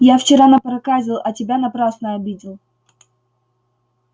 я вчера напроказил а тебя напрасно обидел